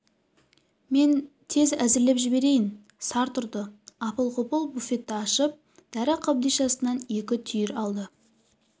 мен тез әзірлеп жіберейін сарт ұрды апыл-ғұпыл буфетті ашып дәрі қобдишасынан екі түйір алды